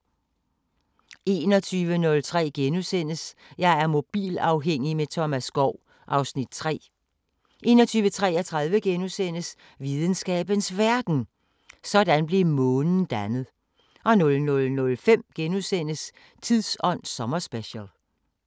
21:03: Jeg er mobilafhængig – med Thomas Skov (Afs. 3)* 21:33: Videnskabens Verden: Sådan blev Månen dannet * 00:05: Tidsånd sommerspecial *